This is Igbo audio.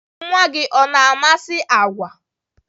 Nwa gị ọ na-amasị agwa?